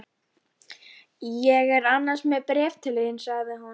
Ég er annars með bréf til þín sagði hún.